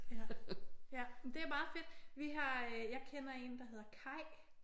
Ja jamen det er meget fedt. Vi har jeg kender en der hedder Kaj